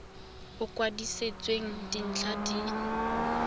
o o kwadisitsweng dintlha le